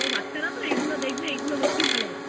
করে দিতে পারো বাচ্চারা তো এগুলো দেখে এগুলো বেশি ভালোবাসে হ্যা